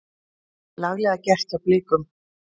Laglega gert hjá Blikum.